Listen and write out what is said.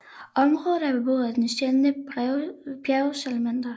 Området er beboet af den sjældne bjergsalamander